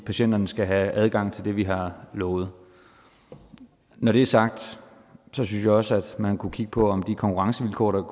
patienterne skal have adgang til det vi har lovet når det er sagt synes jeg også at man kunne kigge på om konkurrencevilkårene